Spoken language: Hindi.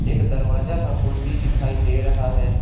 एक दरवाजा का कुंडी दिखाई दे रहा है।